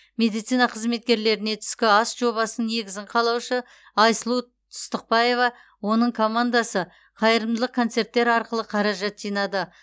медицина қызметкерлеріне түскі ас жобасының негізін қалаушы айсұлу тұстықбаева оның командасы қайырымдылық концерттер арқылы қаражат жинады